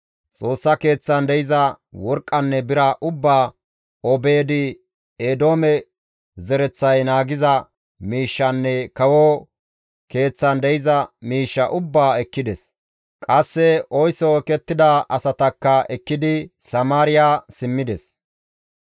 Xoossa Keeththan de7iza worqqanne bira ubbaa Obeed-Eedoome zereththay naagiza miishshanne kawo keeththan de7iza miishshaa ubbaa ekkides; qasse oyso ekettida asatakka ekkidi Samaariya simmides.